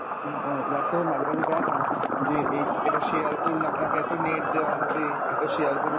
উম ও Whatsapp এ মাঝে মাঝে দেয়না যে এই এটা share করুন আপনাকে এতো net দেওয়া হবে, এতো share করুন